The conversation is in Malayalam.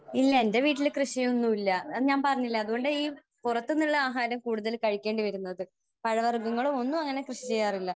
ഇല്ല. എന്റെ വീട്ടിൽ കൃഷി ഒന്നുമില്ല. ഞാൻ പറഞ്ഞില്ലേ? അതുകൊണ്ടാ ഈ പുറത്തുനിന്നുള്ള ആഹാരം കൂടുതൽ കഴിക്കേണ്ടിവരുന്നത്. പഴവർഗങ്ങളും ഒന്നും അങ്ങനെ കൃഷി ചെയ്യാറില്ല.